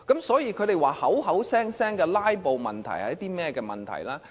所以，他們聲稱的"拉布"問題是甚麼問題呢？